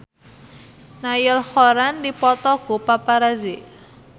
Niall Horran dipoto ku paparazi